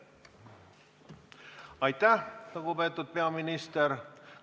Aitäh, lugupeetud peaminister!